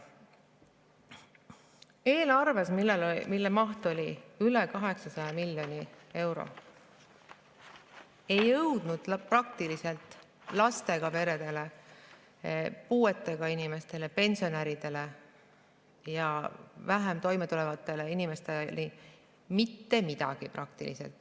Eelarvest, mille maht oli üle 800 miljoni euro, ei jõudnud lastega peredele, puuetega inimestele, pensionäridele ja halvemini toimetulevatele inimestele praktiliselt mitte midagi.